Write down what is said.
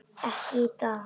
Ekki í dag.